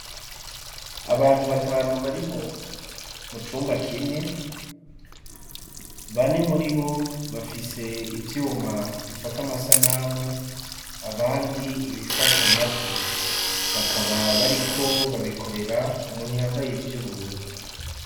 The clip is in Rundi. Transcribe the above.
Abantu batanu bari mu cumba kimwe, bane muribo bafise ivyuma bifata amasanamu, abandi ibifata amajwi, bakaba bariko babikorera umuntu yambaye ivy'ubururu.